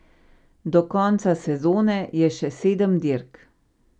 Do konca sezone je še sedem dirk.